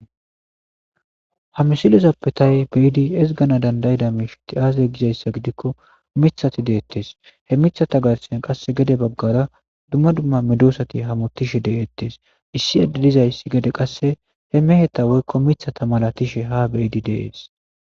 ha misilizappe tay beidi ezgana dandayida miisheti aaze gizayssa gidikko mithati deettes he mithata garsiyen qasse gede baggara dumma dumma medoosati hamotishe deettes issi edde dizayssi gede qasse he meheta woykko mithata mala tishe ha beidi deees